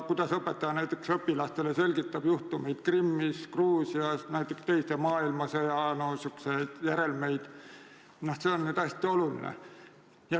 Kuidas õpetaja selgitab õpilastele näiteks juhtumit Krimmis või Gruusias, samuti teise maailmasõja järelmeid jms, see on hästi oluline.